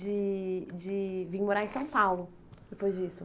De de vir morar em São Paulo, depois disso.